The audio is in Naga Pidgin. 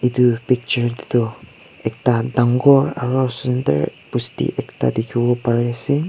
Etu picture tetu ekta dangor aro sundur bosti ekta dekhibo pari ase.